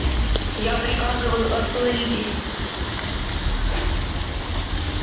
я приказываю остановитесь